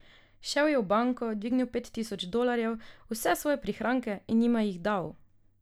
Šel je v banko, dvignil pet tisoč dolarjev, vse svoje prihranke, in jima jih dal.